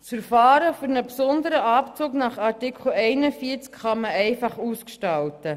Das Verfahren für einen besonderen Abzug kann man nach Artikel 41 einfach ausgestalten.